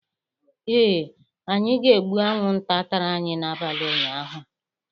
Ee, anyị ga-egbu anwụnta tara anyị n'abalị ụnyaahụ.